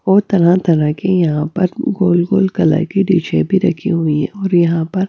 और तरह-तरह की यहां पर गोल-गोल कलर की डिश भी रखी हुई है और यहां पर--